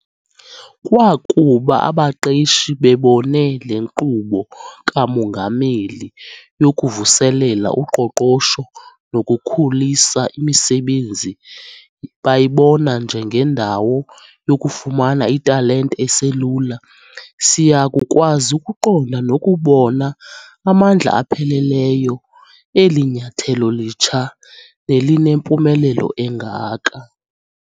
Kwakuba abaqeshi bebone le Nkqubo kaMongameli yokuvuselela uqoqosho nokukhulisa imisebenzi bayibona njengendawo yokufumana italente eselula, siyakukwazi ukuqonda nokubona amandla apheleleyo eli nyathelo litsha nelinempumelelo engaka.